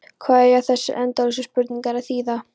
Hvað eiga þessar endalausu spurningar að þýða?